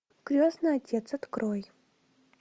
крестный отец открой